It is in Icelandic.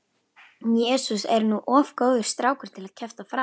Jesús er nú of góður strákur til að kjafta frá.